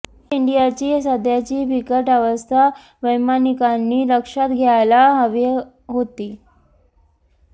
air इंडियाची सध्याची बिकट अवस्था वैमानिकांनी लक्षात घ्यायला हवी होती